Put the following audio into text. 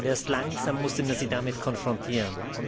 Erst langsam musste man sie damit konfrontieren.